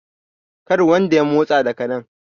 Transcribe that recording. kar wanda ya motsa daga nan?